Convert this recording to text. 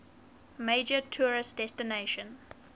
major tourist destination